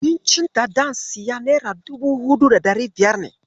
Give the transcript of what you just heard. Abincin da zan siya nera dubu huɗu da ɗari biyar ne.